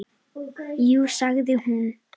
Jú sagði hún.